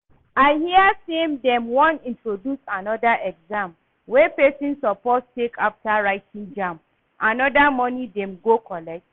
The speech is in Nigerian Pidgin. I hear say dem wan introduce another exam wey person suppose take after writing JAMB, another money dem go collect